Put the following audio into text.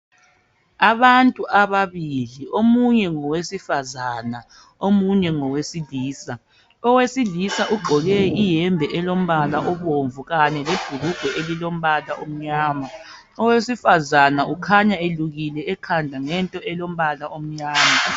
Abantu ababili, omunye ngowesifazana omunye ngowesilisa. Owesilisa ugqoke ihembe elombala obomvu kanye lebhulugwe elilombala omnyama, owesifazana ukhanya elukile ekhanda ngento elombala omnyama.